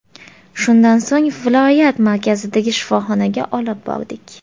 Shundan so‘ng viloyat markazidagi shifoxonaga olib bordik.